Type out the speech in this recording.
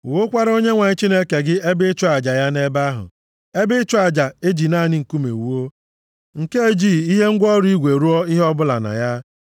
Wuokwara Onyenwe anyị Chineke gị ebe ịchụ aja ya nʼebe ahụ. Ebe ịchụ aja eji naanị nkume wuo, nke ejighị ihe ngwa ọrụ igwe rụọ ihe bụla na ya.